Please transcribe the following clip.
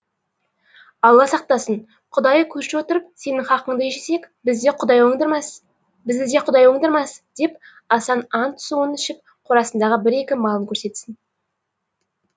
алла сақтасын құдайы көрші отырып сенің хақыңды жесек бізді де құдай оңдырмас деп асан ант суын ішіп қорасындағы бір екі малын көрсетсін